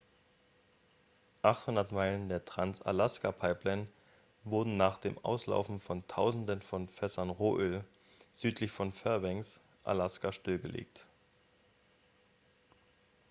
800 meilen der trans-alaska-pipeline wurden nach dem auslaufen von tausenden von fässern rohöl südlich von fairbanks alaska stillgelegt